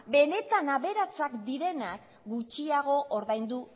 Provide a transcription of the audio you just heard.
benetan aberatsak direnak gutxiago ordaindu